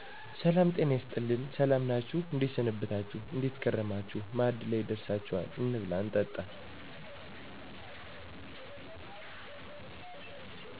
ሰላም "ጤና ይስጥልኝ" ሰላም ናችሁ እንዴት ሰነበታችሁ : እንዴት ከረማችሁ ማዕድ ላይ ደርሳችኋል እንብላ እንጠጣ